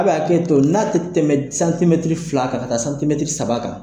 A' bɛ hakɛto n'a te tɛmɛ d santimɛtiri fila kan ka taa santimɛtiri saba kan